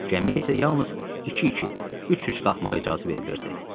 Gəmiyə isə yalnız iki-iki, üç-üç qalxmağa icazə verilirdi.